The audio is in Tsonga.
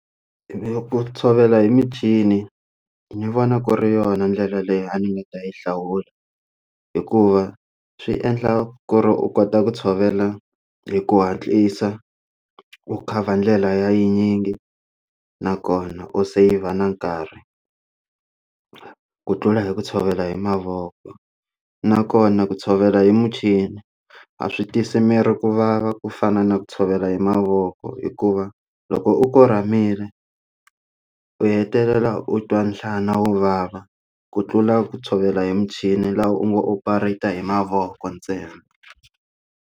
Ni ku tshovela hi michini ni vona ku ri yona ndlela leyi a ni nga ta yi hlawula hikuva swi endla ku ri u kota ku tshovela hi ku hatlisa u khavha ndlela ya yi tinyingi nakona u save-r na nkarhi ku tlula hi ku tshovela hi mavoko nakona ku tshovela hi michini a swi twisi miri ku vava ku fana na ku tshovela hi mavoko hikuva loko u kuramile u hetelela u twa nhlana wo vava ku tlula ku tshovela hi michini laha u ngo operated hi mavoko ntsena.